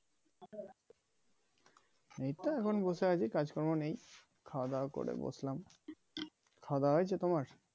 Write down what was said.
এই তো এখন বসে আছি কাজকর্ম নেই খাওয়াদাওয়া করে বসলাম খাওয়া দাওয়া হয়েছে তোমার